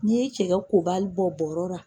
N'i ye cɛkɛ kobali bɔ brɔ la.